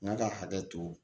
N ka ka hakɛ to